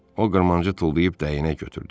O qırmancı tullayıb dəyənək götürdü.